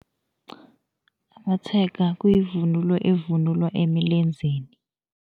Amatshega kuyivunulo evunulwa emilenzeni.